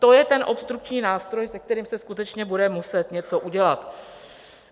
To je ten obstrukční nástroj, se kterým se skutečně bude muset něco udělat.